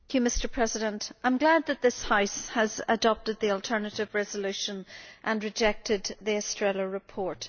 Mr President, I am glad that this House has adopted the alternative resolution and rejected the Estrela report.